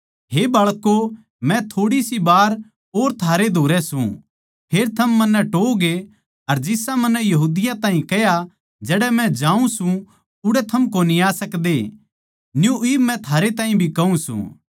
हे बाळकों मै थोड़ी सी वार और थारै धोरै सूं फेर थम मन्नै टोहओगे अर जिसा मन्नै यहूदियाँ ताहीं कह्या जड़ै मै जाऊँ सूं उड़ै थम कोनी आ सकदे न्यू इब मै थारै ताहीं भी कहूँ सूं